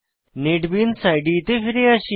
NetBeans IDE তে ফিরে আসি